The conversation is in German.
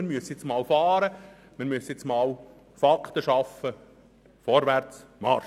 Wir müssen jetzt einmal so fahren, Fakten schaffen und vorwärts Marsch!